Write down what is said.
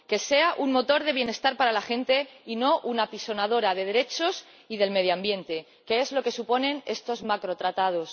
y para que sea un motor de bienestar para la gente y no un apisonadora de derechos y del medio ambiente, que es lo que suponen estos macrotratados.